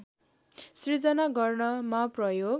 सृजना गर्नमा प्रयोग